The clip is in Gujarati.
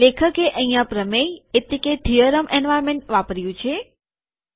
લેખકે અહીંયા પ્રમેય એટલેકે થીઅરમ એન્વાર્નમેન્ટ વાપર્યું છે